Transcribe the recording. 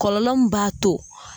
Kɔlɔlɔ m b'a to